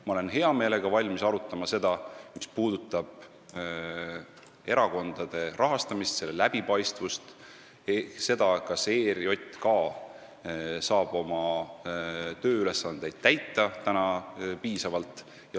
Ma olen hea meelega valmis arutama seda, mis puudutab erakondade rahastamist, selle läbipaistvust ja seda, kas ERJK saab oma tööülesandeid piisavalt täita.